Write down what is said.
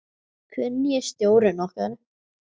Hver er nýi stjórinn okkar?